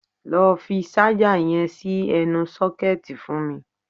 Lọ fi ṣájà yẹn sí ẹnu sọ́kẹ̀tì fún mi!